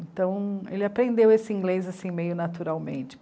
Então, ele aprendeu esse inglês asism, meio naturalmente.